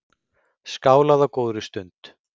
Skálað á góðri stund.